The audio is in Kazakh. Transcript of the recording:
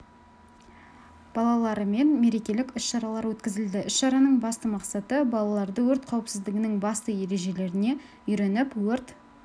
балаларымен мерекелік іс шаралар өткізілді іс-шараның басты мақсаты балаларды өрт қауіпсіздігінің басты ережелеріне үйретіп өрт